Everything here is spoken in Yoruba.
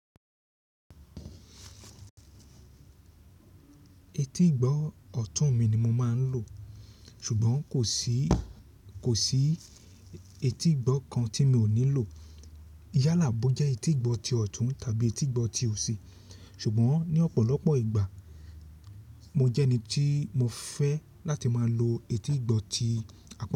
Etí ìgbọ́ ọ̀tún mi ni mo máa ń lò, ṣùgbọ́n kò sí, kò sí etí ìgbọ́ kan tí mi ò nílò. Yálà bo jẹ́ etíìgbọ́ ti ọ̀tún tàbí etíìgbọ́ ti òsì. Ṣùgbọ́n ní ọ̀pọ̀lọpọ̀ ìgbà mo jẹ́ ẹni tí mo fẹ́ láti máa lo etí ìgbọ́ ti àpọ́n mi.